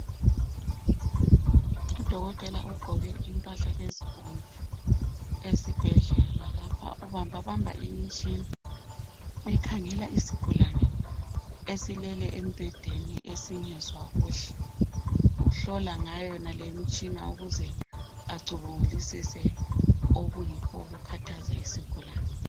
Udokotela ogqoke impahla ezibomvu esibhedlela lapha ubamba bamba imitshina ukhangela isigulane esilele embedeni esingezwa kuhle. Uhlola ngayo yonale imitshina ukuze acubungulisise okuyikho okukhathaza isigulane.